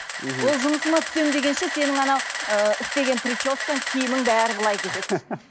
мхм ол жұмысыңа түсемін дегенше сенің анау ыыы істеген прическаң киімің бәрі былай кетеді